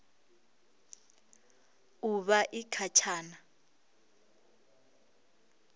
u vha i kha tshana